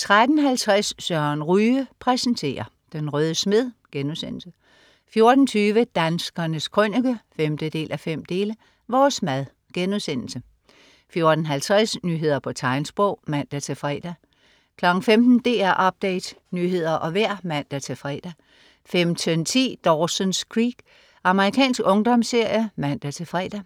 13.50 Søren Ryge præsenterer. Den røde smed* 14.20 Danskernes Krønike 5:5. Vores mad* 14.50 Nyheder på tegnsprog (man-fre) 15.00 DR Update. Nyheder og vejr (man-fre) 15.10 Dawson's Creek. Amerikansk ungdomsserie (man-fre)